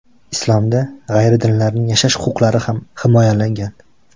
Islomda g‘ayridinlarning yashash huquqlari ham himoyalangan.